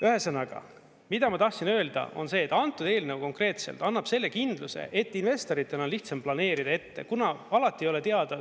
Ühesõnaga, mida ma tahtsin öelda, on see, et antud eelnõu konkreetselt annab selle kindluse, et investoritel on lihtsam planeerida ette, kuna alati ei ole teada.